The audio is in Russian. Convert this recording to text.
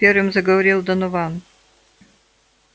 первым заговорил донован